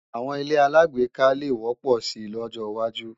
Àwọn ilé-aláàgbéká le wọ́pọ̀ si lọ́jọwájú